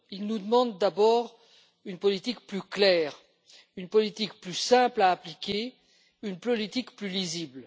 Ils nous demandent d'abord une politique plus claire, une politique plus simple à appliquer, une politique plus lisible.